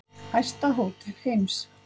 Hæsta hótel heims